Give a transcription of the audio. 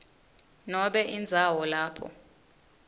nobe indzawo lapho